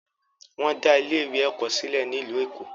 Wọn dá ilé ìwé ẹ̀kọ́ sílẹ̀ ní ìlú Èkó.